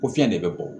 Ko fiyɛn de bɛ bɔ